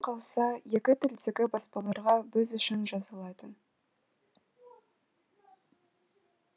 одан қалса екі тілдегі баспаларға біз үшін жазылатын